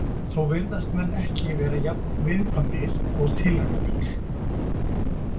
Þó virðast menn ekki vera jafn viðkvæmir og tilraunadýr.